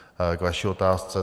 K vaší otázce.